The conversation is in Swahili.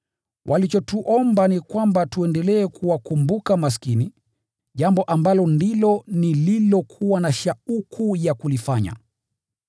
Walichotuomba ni kwamba tuendelee kuwakumbuka maskini, jambo ambalo ndilo nililokuwa na shauku ya kulifanya.